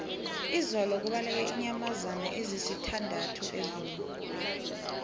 izolo kubaleke iinyamazana ezisithandathu ezoo